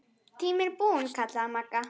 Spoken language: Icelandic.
Tíminn er búinn kallaði Magga.